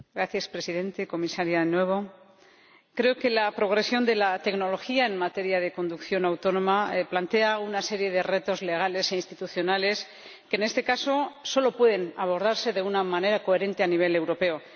Señor Presidente, señora Comisaria, creo que la progresión de la tecnología en materia de conducción autónoma plantea una serie de retos legales e institucionales que, en este caso, solo pueden abordarse de una manera coherente a nivel europeo.